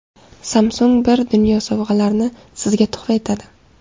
Samsung bir dunyo sovg‘alarni Sizga tuhfa etadi!